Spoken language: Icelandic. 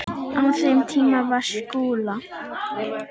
Á þeim tíma var Skúla